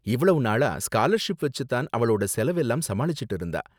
இவ்வளவு நாளா ஸ்காலர்ஷிப் வெச்சு தான் அவளோட செலவெல்லாம் சமாளிச்சுட்டு இருந்தா.